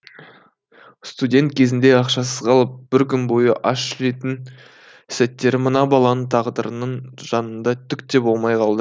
студент кезінде ақшасыз қалып бір күн бойы аш жүретін сәттері мына баланың тағдырының жанында түк те болмай қалды